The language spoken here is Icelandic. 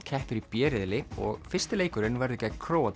keppir í b riðli og fyrsti leikurinn verður gegn Króatíu